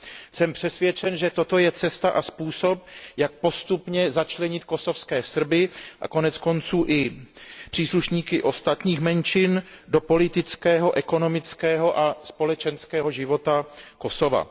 Jsem přesvědčen, že toto je cesta a způsob, jak postupně začlenit kosovské Srby a koneckonců i příslušníky ostatních menšin do politického, ekonomického a společenského života Kosova.